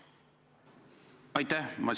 Aitäh!